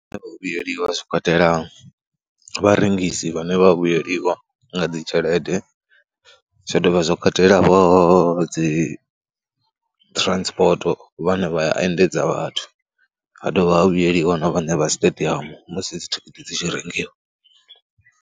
Vhuyeliwa zwi katela vharengisi vhane vha vhuyeliwa nga dzi tshelede, zwa ḓovha zwo katela dzi transport vhane vha ya endedza vhathu, ha dovha ha vhuyeliwa na vhaṋe vha siṱediamu musi dzithikhithi dzi tshi rengiwa.